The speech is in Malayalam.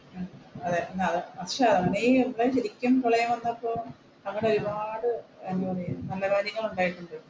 ശരിക്കും പ്രളയം വന്നപ്പോൾ അങ്ങനെ ഒരുപാട്